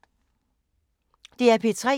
DR P3